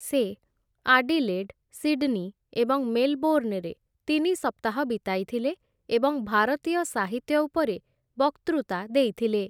ସେ Adelaide, Sydney ଏବଂ ମେଲବୋର୍ଣ୍ଣରେ ତିନି ସପ୍ତାହ ବିତାଇଥିଲେ ଏବଂ ଭାରତୀୟ ସାହିତ୍ୟ ଉପରେ ବକ୍ତୃତା ଦେଇଥିଲେ ।